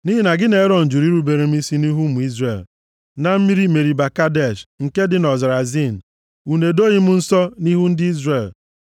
Nʼihi na gị na Erọn jụrụ irubere m isi nʼihu ụmụ Izrel, na mmiri Meriba Kadesh, nke dị nʼọzara Zin, unu edoghị m nsọ nʼihu ndị Izrel. + 32:51 \+xt Ọnụ 20:11-13\+xt*